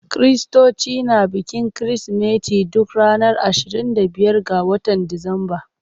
Kiristoci na bikin Kirsimeti duk ranar ashirin da biyar ga watan Disamba.